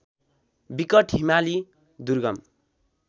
विकट हिमाली दुर्गम